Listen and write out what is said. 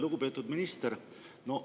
Lugupeetud minister!